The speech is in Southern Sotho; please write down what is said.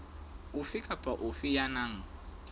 ofe kapa ofe ya nang